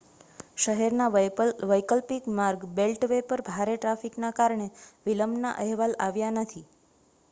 શહેરના વૈકલ્પિક માર્ગ બેલ્ટવે પર ભારે ટ્રાફિકના કારણે વિલંબના અહેવાલ આવ્યા નથી